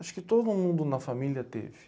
Acho que todo mundo na família teve.